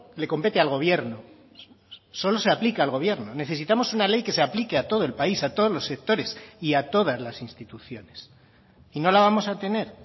le compete al gobierno solo se aplica al gobierno necesitamos una ley que se aplique a todo el país a todos los sectores y a todas las instituciones y no la vamos a tener